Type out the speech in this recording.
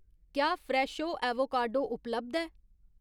क्या Fresho avocado उपलब्ध ऐ ?